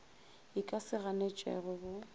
e ka se ganetšwego bo